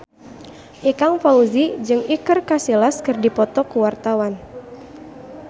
Ikang Fawzi jeung Iker Casillas keur dipoto ku wartawan